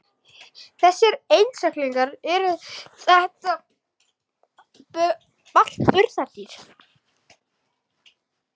Þessir einstaklingar, eru þetta allt burðardýr?